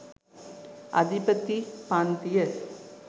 අධිපති පන්තිය